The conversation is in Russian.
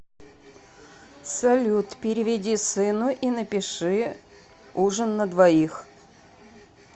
салют переведи сыну и напиши ужин на двоих